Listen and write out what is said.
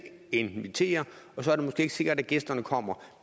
invitere og så er det måske ikke sikkert at gæsterne kommer